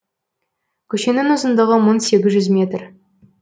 көшенің ұзындығы метр